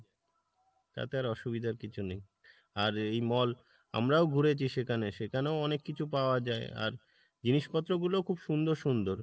তাতে আর অসুবিধার কিছু নেই। আর এই mall আমরাও ঘুরেছি সেখানে সেখানেও অনিক কিছু পাওয়া যাই আর জিনিসপত্র গুলো খুব সুন্দর সুন্দর,